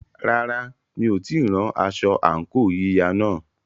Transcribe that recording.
Rárá, mi ò tíì rán aṣọ àǹkóò yíya náà.